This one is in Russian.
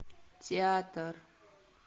театр